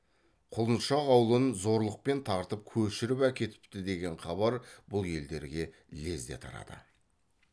құлыншақ аулын зорлықпен тартып көшіріп әкетіпті деген хабар бұл елдерге лезде тарады